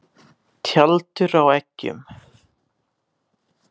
Tjaldur á eggjum.